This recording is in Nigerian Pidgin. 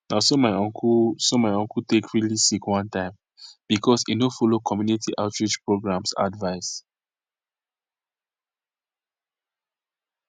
na so my uncle so my uncle take really sick one time because e no follow community outreach programs advice